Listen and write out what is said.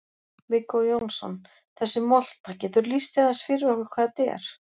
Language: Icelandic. Viggó Jónsson: Þessi molta, geturðu lýst því aðeins fyrir okkur hvað þetta er?